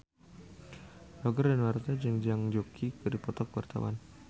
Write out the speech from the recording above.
Roger Danuarta jeung Zhang Yuqi keur dipoto ku wartawan